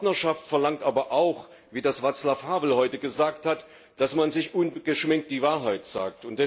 Partnerschaft verlangt aber auch wie das Václav Havel heute gesagt hat dass man sich ungeschminkt die Wahrheit sagt.